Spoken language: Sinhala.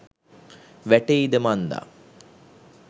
වැටෙයිද මන්දා